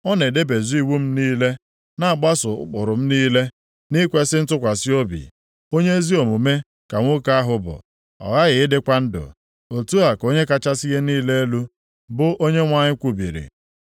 Ọ na-edebezu iwu m niile, na-agbaso ụkpụrụ m niile nʼikwesị ntụkwasị obi. Onye ezi omume ka nwoke ahụ bụ; ọ ghaghị ịdịkwa ndụ, otu a ka Onye kachasị ihe niile elu, bụ Onyenwe anyị kwubiri.